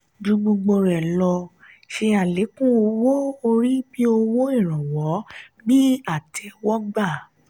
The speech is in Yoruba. ju gbogbo lọ; ṣe alekun owó orí bí owó ìrànwọ́ bíi àtéwógbà.